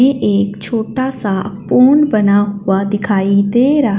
ये एक छोटा सा पुन बना हुआ दिखाई दे रहा--